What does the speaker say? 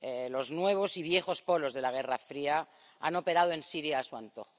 Los nuevos y viejos polos de la Guerra Fría han operado en Siria a su antojo.